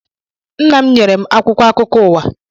Nna m nyere m akwụkwọ akụkọ ụwa